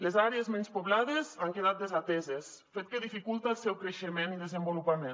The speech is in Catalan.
les àrees menys poblades han quedat desateses fet que dificulta el seu creixement i desenvolupament